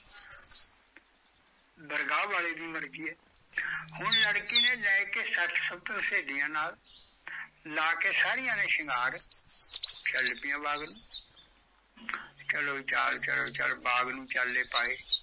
ਦਰਗਾਹ ਵਾਲੇ ਦੀ ਮਰਜ਼ੀ ਐ ਹੁਣ ਲੜਕੀ ਨੇ ਲੈ ਕੇ ਸੱਤ ਸੁਤ ਸਹੇਲੀਆ ਨਾਲ਼ ਲਾ ਕੇ ਸਾਰੀਆ ਨੇ ਸ਼ਿੰਗਾਰ ਚੱਲ ਪੀਆ ਬਾਗ਼ ਨੂੰ ਚਲੋ ਚਾਲ ਚਲੋ ਚਾਲ ਬਾਗ਼ ਨੂੰ ਚਾਲੇ ਪਾਏ